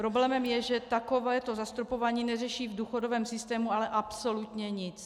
Problémem je, že takovéto zastropování neřeší v důchodovém systému ale absolutně nic.